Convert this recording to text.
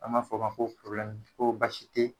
An b'a f'ɔ ma ko t ko basi te